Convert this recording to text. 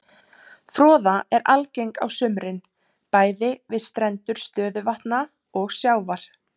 Froða er algeng á sumrin bæði við strendur stöðuvatna og sjávar.